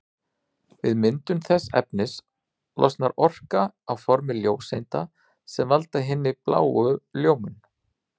Við myndun þessa efnis losnar orka á formi ljóseinda sem valda hinni bláu ljómun.